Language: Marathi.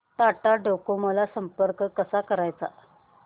टाटा डोकोमो ला संपर्क कसा करायचा